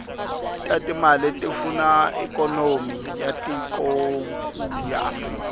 tatimale tifuna ikonomy yatikonkulu afrika